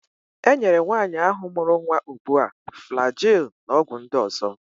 E nyere nwaanyi ahụ mụrụ nwa ugbu a Flagil na ọgwụ ndị ọzọ.